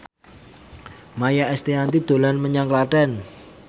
Maia Estianty dolan menyang Klaten